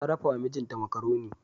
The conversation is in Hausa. Ta dafawa mijinta makaroni.